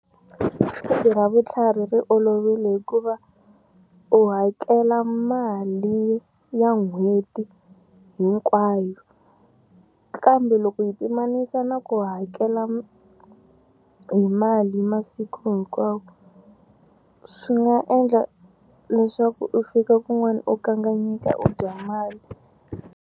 Khadi vutlhari ri olovile hikuva u hakela mali ya n'hweti hinkwayo kambe loko hi pimanisa na ku hakela hi mali masiku hinkwawo swi nga endla leswaku u fika kun'wana u kanganyisa u dya mali.